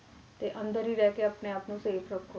ਤੇ ਅੰਦਰ ਹੀ ਰਹਿ ਕੇ ਆਪਣੇ ਆਪ ਨੂੰ safe ਰੱਖੋ।